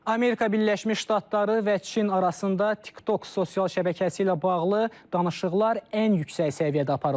Amerika Birləşmiş Ştatları və Çin arasında TikTok sosial şəbəkəsi ilə bağlı danışıqlar ən yüksək səviyyədə aparılır.